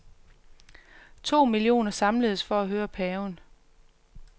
To millioner samledes for at høre paven.